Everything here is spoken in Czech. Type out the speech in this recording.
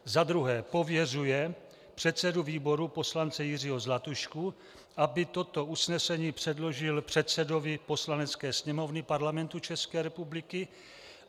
za druhé pověřuje předsedu výboru poslance Jiřího Zlatušku, aby toto usnesení předložil předsedovi Poslanecké sněmovny Parlamentu České republiky;